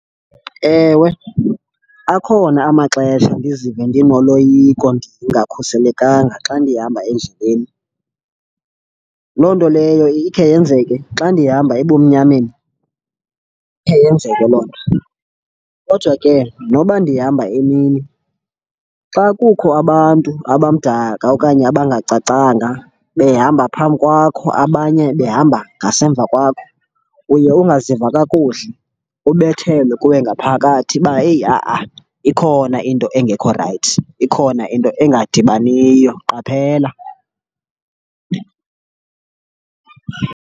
Ewe, akhona amaxesha ndizive ndinoloyiko ndingakhuselekanga xa ndihamba endleleni. Loo nto leyo ikhe yenzeke xa ndihamba ebumnyameni, ikhe yenzeke loo nto. Kodwa ke noba ndihamba emini xa kukho abantu abamdaka okanye abangacacanga behamba phambi kwakho, abanye behamba ngasemva kwakho uye ungaziva kakuhle ubethelwe kuwe ngaphakathi uba heyi ha-a, ikhona into engekho rayithi, ikhona into engadibaniyo. Qaphela.